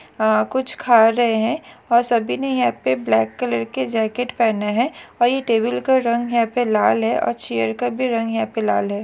अह कुछ खा रहे है और सभी ने यहा पे ब्लॅक कलर के जैकेट पहने है और ये टेबल का रंग यहां पे लाल है और चेयर का भी रंग लाल है।